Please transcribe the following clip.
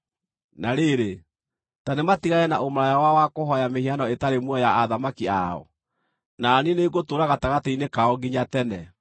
Na rĩrĩ, ta nĩmatigane na ũmaraya wao wa kũhooya mĩhianano ĩtarĩ muoyo ya athamaki ao, na niĩ nĩngũtũũra gatagatĩ-inĩ kao nginya tene.